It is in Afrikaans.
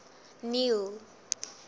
neil